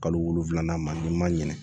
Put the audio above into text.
Kalo wolonfilanan n'i ma ɲinɛ